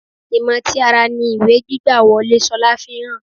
Ìmọ̀ ti ara ni ìwé gbígbà-wọlé Ṣolá ń fihàn.